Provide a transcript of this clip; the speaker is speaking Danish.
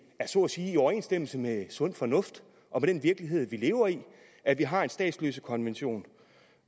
så at sige er i overensstemmelse med sund fornuft og med den virkelighed vi lever i at vi har en statsløsekonvention